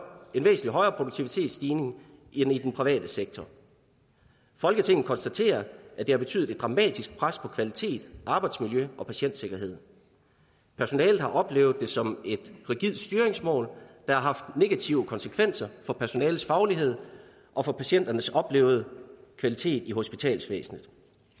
produktivitetsstigning end i den private sektor folketinget konstaterer at det har betydet et dramatisk pres på kvalitet arbejdsmiljø og patientsikkerhed personalet har oplevet det som et rigidt styringsmål der har haft negative konsekvenser for personalets faglighed og for patienternes oplevede kvalitet i hospitalsvæsenet